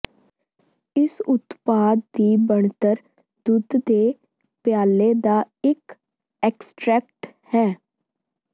ਇਸ ਉਤਪਾਦ ਦੀ ਬਣਤਰ ਦੁੱਧ ਦੇ ਪਿਆਲੇ ਦਾ ਇੱਕ ਐਕਸਟਰੈਕਟ ਹੈ